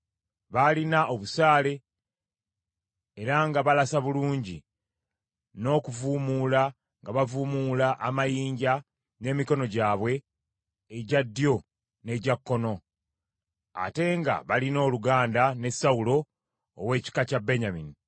Baalina obusaale, era nga balasa bulungi, n’okuvuumuula nga bavuumuula amayinja n’emikono gyabwe egya ddyo n’egya kkono, ate nga balina oluganda ne Sawulo ow’ekika kya Benyamini.